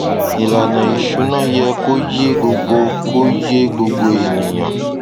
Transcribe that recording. ìlànà ìṣúná yẹ kó yé gbogbo kó yé gbogbo ènìyàn